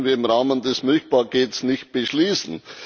Das konnten wir im Rahmen des Milchpakets nicht beschließen.